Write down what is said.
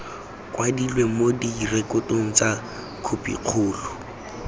kwadilwe mo direkotong tsa khopikgolo